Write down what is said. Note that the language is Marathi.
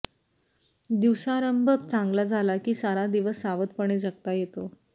दिवसारंभ चांगला झाला की सारा दिवस सावधपणे जगता येतो